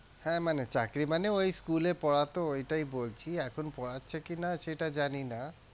হ্যাঁ, মানে চাকরি মানে ওই school এ পড়াতো ওইটাই বলছি এখন পোড়াচ্ছে কিনা সেটা জানি না।